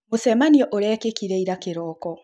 Mũcemanio urakekĩre ira kĩroko